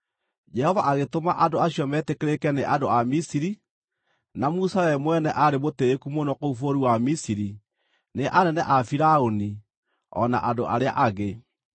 (Jehova agĩtũma andũ acio metĩkĩrĩke nĩ andũ a Misiri, na Musa we mwene aarĩ mũtĩĩku mũno kũu bũrũri wa Misiri nĩ anene a Firaũni o na andũ arĩa angĩ.)